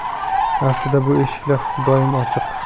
Aslida bu eshiklar doimo ochiq.